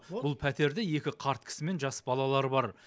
бұл пәтерде екі қарт кісі мен жас балалар бар